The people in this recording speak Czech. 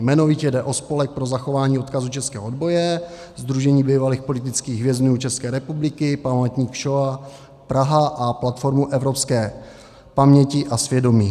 Jmenovitě jde o Spolek pro zachování odkazu českého odboje, Sdružení bývalých politických vězňů České republiky, Památník Šoa Praha a Platformu evropské paměti a svědomí.